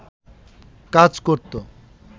কাজ করত